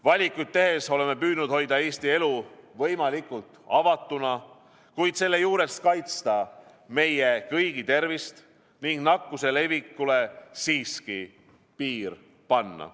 Valikuid tehes oleme püüdnud hoida Eesti elu võimalikult avatuna, kuid selle juures kaitsta meie kõigi tervist ning nakkuse levikule siiski piir panna.